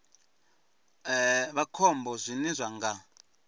vha khombo zwine zwa nga